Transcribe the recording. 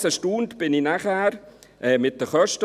Ebenfalls erstaunt war ich dann über die Kosten: